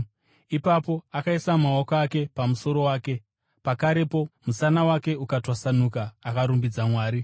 Ipapo akaisa maoko ake pamusoro wake, pakarepo musana wake ukatwasanuka akarumbidza Mwari.